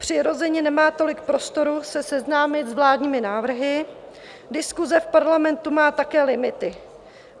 Přirozeně nemá tolik prostoru se seznámit s vládními návrhy, diskuse v Parlamentu má také limity.